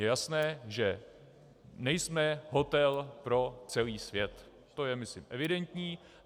Je jasné, že nejsme hotel pro celý svět, to je, myslím, evidentní.